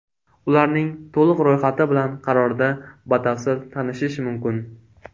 Ularning to‘liq ro‘yxati bilan qarorda batafsil tanishish mumkin.